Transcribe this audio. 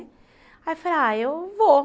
Aí eu falei, ah, eu vou.